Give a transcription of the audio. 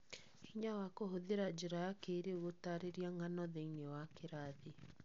Hinya wa kũhũthĩra njĩra ya kĩrĩĩu gũtaarĩria ng'ano thĩiniĩ wa kĩrathi